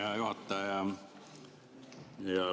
Hea juhataja!